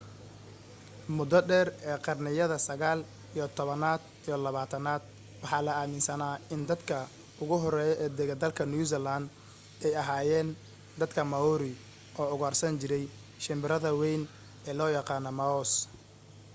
mudo dheer ee qarniyada sagaal iyo tobanaad iyo labaatanaad waxaa la aaminsanaa in dadka ugu hore ee degay dalka new zealand ay ahaayeen dadka maori oo ugaarsan jiray shimbirada wayn ee loo yaqaanay moas